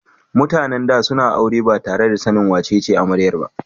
MutAnan da suna aure batare da sanin wace amaryar ba